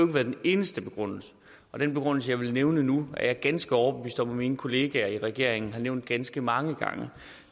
været den eneste begrundelse og den begrundelse jeg vil nævne nu er jeg ganske overbevist om at mine kollegaer i regeringen har nævnt ganske mange gange